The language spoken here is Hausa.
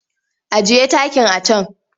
Ajiye takin a can!